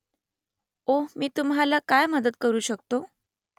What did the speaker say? ओह मी तुम्हाला काय मदत करू शकतो ?